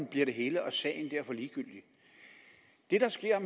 bliver det hele og sagen derfor ligegyldig det der sker